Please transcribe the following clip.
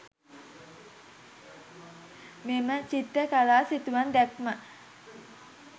මෙම චිත්‍රකතා සිතුවම් දැක්ම